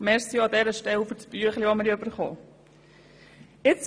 Vielen Dank an dieser Stelle auch für das Büchlein, das wir von dir bekommen haben.